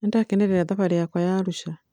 Nĩndakĩnĩrera thabarĩ yakwa ya Arũsha